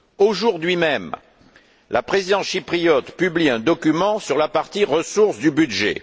Aujourd'hui même, la Présidence chypriote publie un document sur la partie ressources du budget.